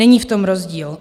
Není v tom rozdíl.